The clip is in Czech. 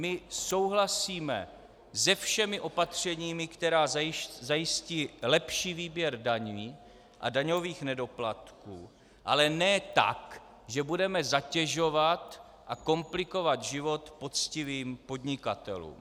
My souhlasíme se všemi opatřeními, která zajistí lepší výběr daní a daňových nedoplatků, ale ne tak, že budeme zatěžovat a komplikovat život poctivým podnikatelům.